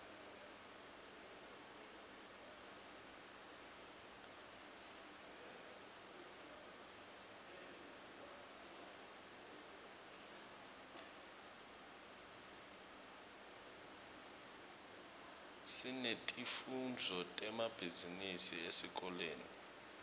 sinetifundvo temabhizinisi esikolweni